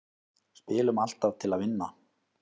Spilum alltaf til að vinna